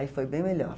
Aí foi bem melhor.